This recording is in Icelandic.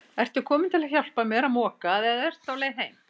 Ertu kominn til að hjálpa mér að moka eða ertu á leið heim?